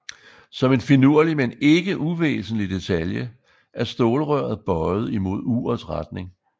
Som en finurlig men ikke uvæsentlig detalje er stålrøret bøjet imod urets retning